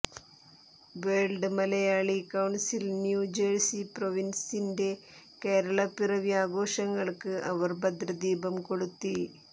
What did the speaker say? world Malayali council New Jersey പ്രൊവിൻസിന്റെ കേരളപ്പിറവി ആഘോഷങ്ങൾക്ക് അവർ ഭദ്രദീപം കൊളുത്തി